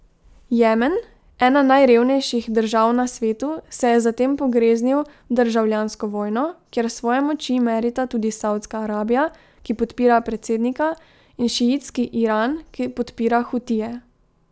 Jemen, ena najrevnejših držav na svetu, se je zatem pogreznil v državljansko vojno, kjer svoje moči merita tudi Savdska Arabija, ki podpira predsednika, in šiitski Iran, ki podpira Hutije.